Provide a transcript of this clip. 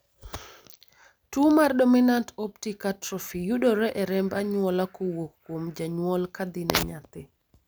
tuo mar Dominant optic atrophy yudore e remb anyuola kowuok kuom janyuol kadhi ne nyathi